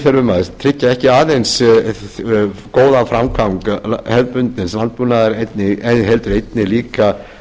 þurfum að tryggja ekki aðeins góðan framgang hefðbundins landbúnaðar heldur einnig líka